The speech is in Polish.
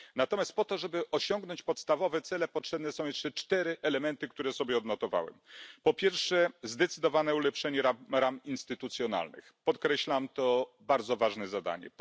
Natomiast po to, żeby osiągnąć podstawowe cele, potrzebne są jeszcze cztery elementy, które sobie odnotowałem po pierwsze, zdecydowane ulepszenie ram instytucjonalnych, podkreślam, to bardzo ważne zadanie.